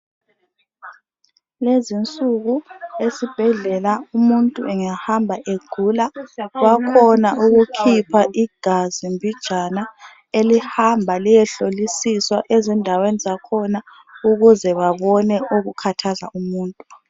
Lezi insuku esibhedlela umuntu ungahamba egula bakhona ukukhipha igazi mbijana elihamba liyehlolisiswa ezindaweni zakhona ukuze babone okukhathaza umuntu.